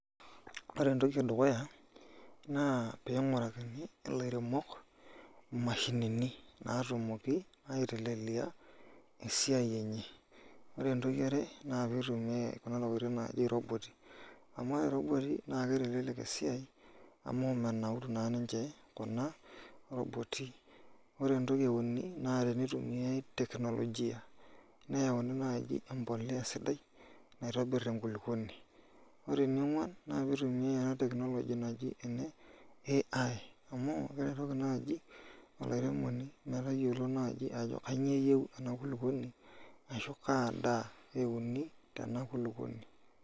Ore entoki edukuya na ping'urakini lairemok mashinini natumoki aitelelia esiai enye, ore entoki eare na peing'urakini kuna tokitin naji robot amu kitelelek esiai amu menauru kuna roboti ore entoki euni na tenitumiai teknologia neaku nai empolea sidai naitobir enkulukuoni, ore eneonguan na tenitumiai technology naji ene AI amu keretoki nai olaremoni metayiolo ajo kanyio eyieu enakulukuoni ashu kaa daa euni tena kulukuoni.